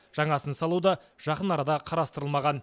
жаңасын салу да жақын арада қарастырылмаған